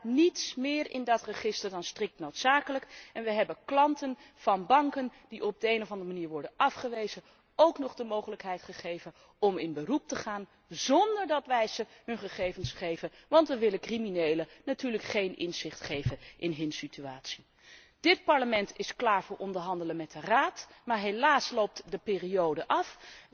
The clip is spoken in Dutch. Er staat niets meer in dat register dan strikt noodzakelijk en we hebben klanten van banken die op de een of andere manier worden afgewezen ook nog de mogelijkheid gegeven om in beroep te gaan zónder dat wij ze hun gegevens geven, want we willen criminelen natuurlijk geen inzicht geven in hun situatie. Dit Parlement is klaar voor onderhandelen met de Raad, maar helaas loopt de periode af.